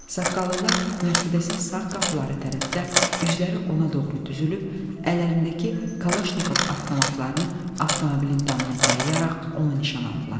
Saqqallılar Mercedesin sağ qapıları tərəfdə üzləri ona doğru düzülüb, əllərindəki Kalaşnikov avtomatlarını avtomobilin damına dayayaraq onu nişan aldılar.